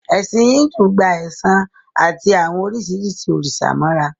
Ẹ̀sìn Íńdù gba ẹ̀san àti àwọn oríṣiríṣi òrìṣà mọ́ra